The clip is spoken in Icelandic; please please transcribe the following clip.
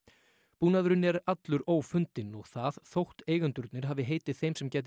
búnaðurinn er allur ófundinn og það þótt eigendurnir hafi heitið þeim sem gæti